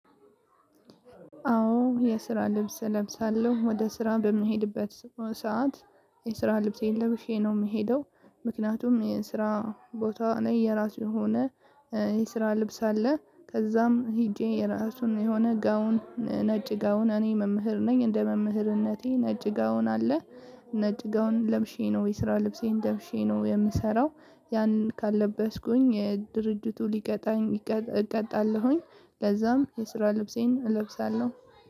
አዎ የስራ ልብስ እለብሳለሁ ወደ ስራ በምሄድበት ሰዓት የስራ ልብሴን ለብሼ ነው የምሄደው። ምክንያቱም የስራ ቦታ ላይ የራሱ የሆነ የስራ ልብስ አለ ከዛም ሄጄ የራሱን የሆነ ጋውን ነጭ ጋውን እኔ መምህር ነኝ እንደ መምህርነቴ ነጭ ጋውን አለ። ነጭ ጋውን ለብሼ ነው የስራ ልብሴን ለብሼ ነው የምሰራው። ያንን ካልለበስኩኝ ድርጅቱ ሊቀጣኝ እቀጣለሁኝ። ለዛም የስራ ልብሴን እለብሳለሁ።